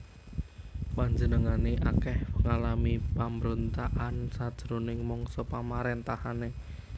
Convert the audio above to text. Panjenengané akèh ngalami pambrontakan sajroning mangsa pamaréntahané